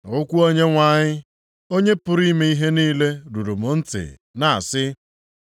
Okwu Onyenwe anyị, Onye pụrụ ime ihe niile ruru m ntị na-asị,